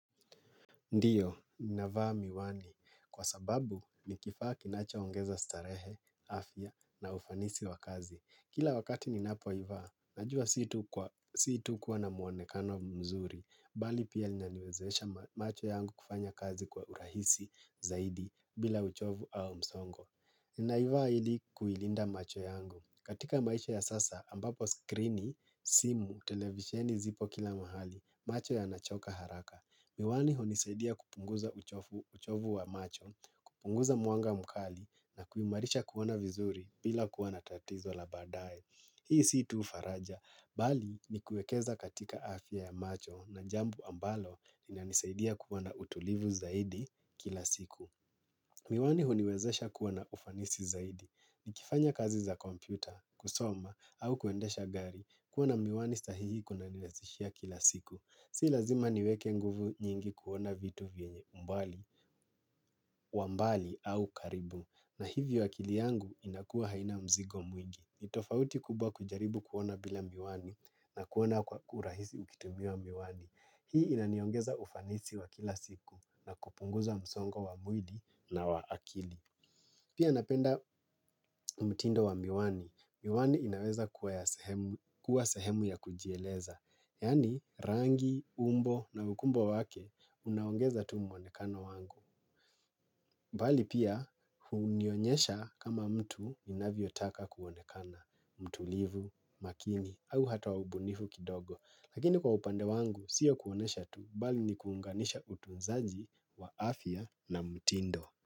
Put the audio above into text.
Ndiyo, ninavaa miwani. Kwa sababu, ni kifaa kinachoongeza starehe, afya na ufanisi wa kazi. Kila wakati ninapoivaa, najua si tu kuwa na muonekano mzuri, bali pia linaniwezesha macho yangu kufanya kazi kwa urahisi zaidi bila uchovu au msongo. Ninaivaa ili kuilinda macho yangu. Katika maisha ya sasa, ambapo skrini, simu, televisheni zipo kila mahali, macho yanachoka haraka. Miwani hunisaidia kupunguza uchovu wa macho, kupunguza mwanga mkali na kuimarisha kuona vizuri bila kuwa na tatizo la baadaye. Hii si tu faraja, bali ni kuekeza katika afya ya macho na jambo ambalo linanisaidia kuwa na utulivu zaidi kila siku. Miwani huniwezesha kuwana ufanisi zaidi. Nikifanya kazi za kompyuta, kusoma, au kuendesha gari, kuwa na miwani sahihi kunanirahishia kila siku. Si lazima niweke nguvu nyingi kuona vitu vyenye umbali, wa mbali au karibu. Na hivyo akili yangu inakuwa haina mzigo mwingi. Tofauti kubwa kujaribu kuona bila miwani na kuona kwa urahisi ukitumia miwani. Hii inaniongeza ufanisi wa kila siku na kupunguza msongo wa mwili na wa akili. Pia napenda mtindo wa miwani. Miwani inaweza kuwa sehemu ya kujieleza. Yaani rangi, umbo na ukubwa wake unaongeza tu mwonekano wangu. Bali pia hunionyesha kama mtu inavyotaka kuonekana. Mtulivu, makini au hata wa ubunifu kidogo. Lakini kwa upande wangu siyo kuonyesha tu bali ni kuunganisha utunzaji wa afya na mtindo.